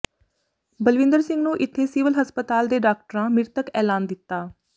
ਬਲਵਿੰਦਰ ਸਿੰਘ ਨੂੰ ਇੱਥੇ ਸਿਵਲ ਹਸਪਤਾਲ ਦੇ ਡਾਕਟਰਾਂ ਮ੍ਰਿਤਕ ਐਲਾਨ ਦਿੱਤਾ